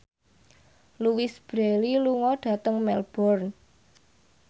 Louise Brealey lunga dhateng Melbourne